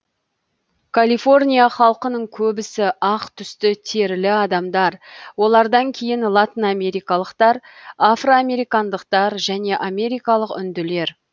калифорния халқының көбісі ақ түсті терілі адамдар олардан кейін латынамерикалықтар афроамерикандықтар және америкалық үнділер